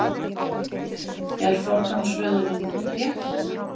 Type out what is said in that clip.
Er forgangsröðunin rétt?